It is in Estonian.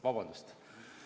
Vabandust!